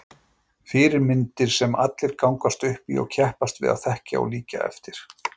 Fyrirmyndir sem allir gangast upp í og keppast við að þekkja og líkja eftir.